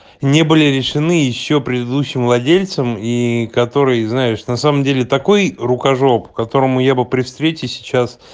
не были решены ещё предыдущим владельцем и которые знаешь на самом деле такой рукожоп которому я бы при встрече сейчас